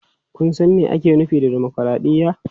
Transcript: Kun san me ake nufi da dimokuraɗiyya?